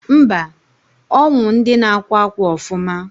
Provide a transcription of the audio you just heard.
mba, onwu ndi na akwa akwa ofuma